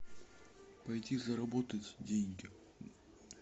пойти заработать деньги